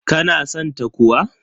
Ka na san ta kuwa?